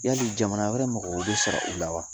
Ya'li jamana wɛrɛ mɔgɔ bɛ sɔr'u la wa